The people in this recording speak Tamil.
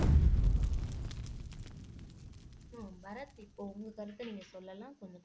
உம் பரத் இப்போ உங்க கருத்தை நீங்க சொல்லலாம் கொஞ்சம்